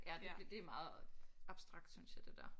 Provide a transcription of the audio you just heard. Ja det bliver det er meget abstrakt synes jeg det der